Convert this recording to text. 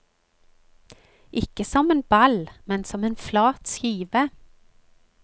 Ikke som en ball, men som en flat skive.